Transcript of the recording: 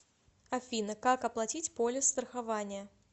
афина как оплатить полис страхования